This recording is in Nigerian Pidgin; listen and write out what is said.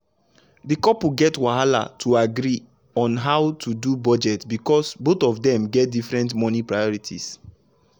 the couple get wahala to agree on how to do budget because both of them get different money priorities.